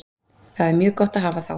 Það er mjög gott að hafa þá.